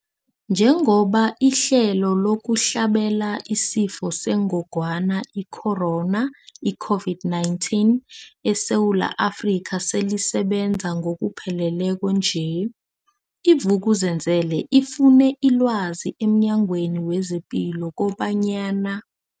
Njengoba ihlelo lokuhlabela isiFo sengogwana i-Corona, i-COVID-19, eSewula Afrika selisebenza ngokupheleleko nje, i-Vuk'uzenzele ifune ilwazi emNyangweni wezePilo kobanyana.